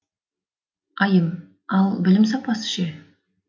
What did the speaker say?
айым ал білім сапасы ше